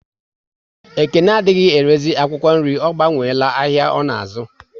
Ekene adịghị erezi akwụkwọ nri, ọ gbanwela ahịa ọ na azu